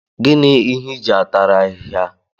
Gịnị ịhe iji atara ahịhịa?